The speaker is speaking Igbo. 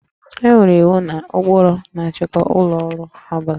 E nwere iwu na ụkpụrụ na-achịkwa ụlọ ọrụ ọ bụla